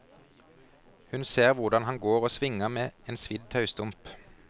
Hun ser hvordan han går og svinger med en svidd taustump.